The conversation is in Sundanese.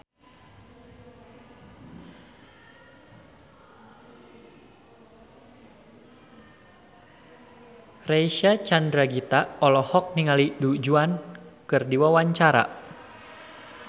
Reysa Chandragitta olohok ningali Du Juan keur diwawancara